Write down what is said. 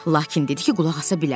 Lakin dedi ki, qulaq asa bilər.